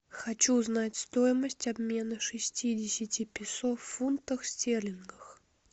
хочу узнать стоимость обмена шестидесяти песо в фунтах стерлингах